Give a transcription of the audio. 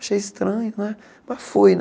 Achei estranho né, mas fui.